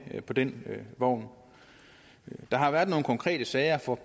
på den vogn der har været nogle konkrete sager for